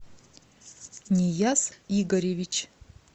нияз игоревич